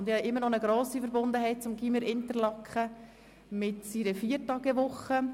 Ich habe immer noch eine grosse Verbundenheit zum Gymnasium Interlaken mit seiner Viertagewoche.